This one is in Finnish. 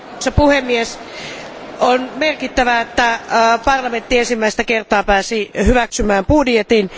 Arvoisa puhemies, on merkittävää, että parlamentti ensimmäistä kertaa pääsi hyväksymään budjetin.